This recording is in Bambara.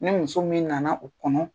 Ni muso min na na o kɔnɔ.